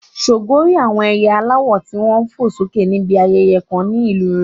Ṣògo rí àwọn ẹyẹ aláwọ̀ tí wọ́n ń fò sókè níbi ayẹyẹ kan ní ìlú rẹ̀.